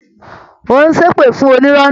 Ó ń ṣépè fún onírọ́ náà